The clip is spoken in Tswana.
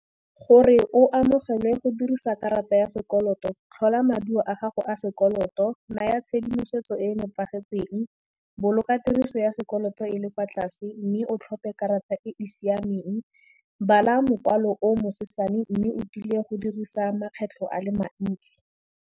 Gore o amogelwe go dirisa karata ya sekoloto, tlhola maduo a gago a sekoloto, naya tshedimosetso e e nepagetseng, boloka tiriso ya sekoloto e le kwa tlase, mme o tlhophe karata e e siameng, bala mokwalo o bosesane, mme o tile go dirisa makgetlho a le mantsi.